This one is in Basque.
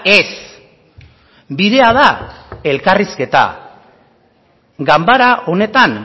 ez bidea da elkarrizketa ganbara honetan